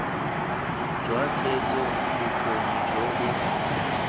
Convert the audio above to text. jwa theetso bokgoni jo bo